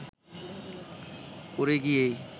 পড়ে গিয়েই